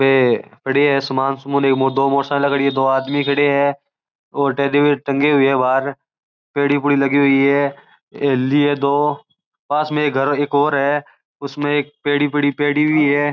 वे खड़े है दो मोटरसाइकिल खड़ी है दो आदमी खड़े है और टेडी बियर टंगे है बाहर पेढ़ी लगी हुई है हवेली है दो पास में एक घर और है उसमे एक पेढ़ी की है।